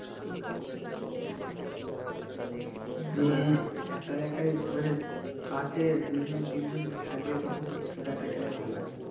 একা একাই মানে পাশে দুজন তিনজন থাকবে তখন free fire তা খেলতে ভালো লাগে